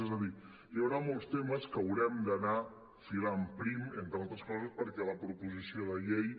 és a dir hi haurà molts temes en què haurem d’anar filant prim entre altres coses perquè la proposició de llei